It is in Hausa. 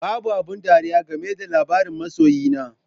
Babu abin ɗariya game da labarin masoyi na